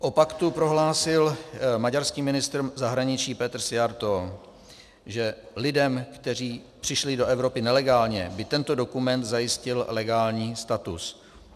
O paktu prohlásil maďarský ministr zahraničí Péter Szijjártó, že lidem, kteří přišli do Evropy nelegálně, by tento dokument zajistil legální status.